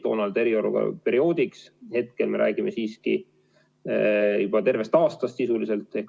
Toona oli see eriolukorra perioodiks, hetkel me räägime siiski juba tervest aastast sisuliselt.